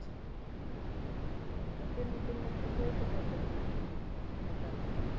তেল তেল টা কিন্তু পরিশোধিত না ভেজাল সব